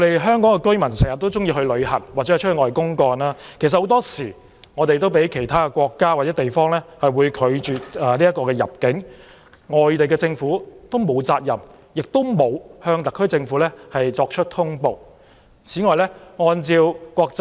香港居民經常會出外旅遊或公幹，有些人也會被其他國家或地方拒絕入境，而外地政府沒有責任向特區政府作出通報，事實上也沒有通報機制。